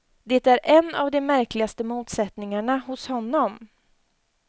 Det är en av de märkligaste motsättningarna hos honom.